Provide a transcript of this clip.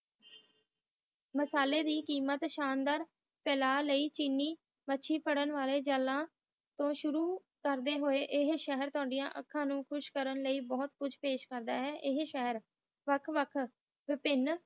ਮਸਲੇ ਦੀ ਕੀਮਤ ਤਾਲਾ ਲਾਇ ਚੇਨਈ ਮਾਛੀ ਫਰਾਂ ਵਾਲੇ ਜਾਲ ਤੋਂ ਸ਼ੁਰੂ ਕਰਦੇ ਹੋਈ ਇਹ ਸਹਾਰ ਥੁੜੀ ਅੱਖਾਂ ਨੂੰ ਕੁਸ਼ ਕਰਨ ਲਾਇ ਬੋਥ ਕੁਜ ਪਸਾਹ ਕਰਦਾ ਹੈ ਵੱਖ ਵੱਖ ਵਾਪਿਨ